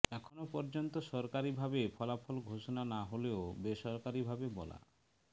এখন পর্যন্ত সরকারিভাবে ফলাফল ঘোষণা না হলেও বেসরকারিভাবে বলা